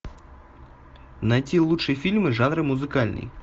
найти лучшие фильмы жанра музыкальный